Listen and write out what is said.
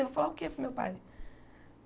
Eu vou falar o que para o meu pai?